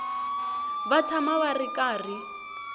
va tshama va ri karhi